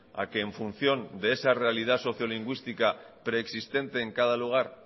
a que en función de esa realidad socio lingüística preexistente en cada lugar